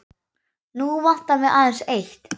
Nú vantar mig aðeins eitt!